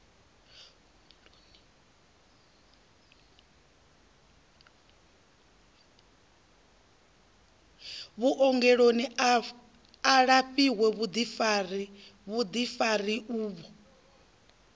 vhuongeloni a lafhiwe vhuḓifari uvho